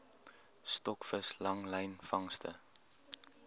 stokvis langlyn vangste